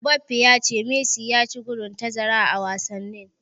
Mbappe ya ce Messi ya ci bugun tazara a wasanni.